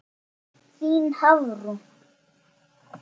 Þín Hafrún.